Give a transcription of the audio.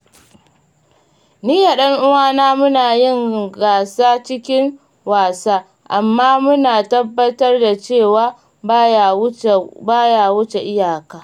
Ni da ɗan'uwana muna yin gasa cikin wasa, amma muna tabbatar da cewa ba ya wuce iyaka.